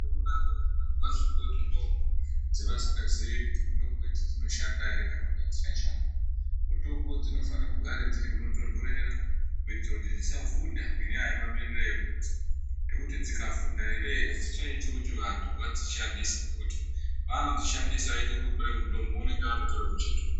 Zvinonaka kuti vantu vandopuwe mutombo dzavasikaziii kuti mitombo idzi dzinoshanda ere kana kuti adzishandi mutombo dzinofane kugare dziri munotontorera kuitire kuti dzisavhunda ngenyaya yemamiriro ekunze ngekuti dzikavhunda ere adzichaiti kuti vantu vadzishandise ngekuti paanodzishandisa achiti uri kutore mutombo unenge atotore muchetura.